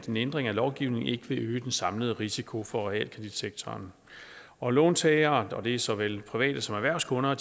en ændring af lovgivningen ikke vil øge den samlede risiko for realkreditsektoren og låntagerne og det er såvel private som erhvervskunder